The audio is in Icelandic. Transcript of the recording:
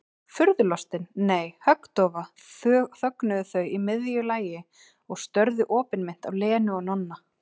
Furðulostin, nei, höggdofa þögnuðu þau í miðju lagi og störðu opinmynnt á Lenu og Nonna.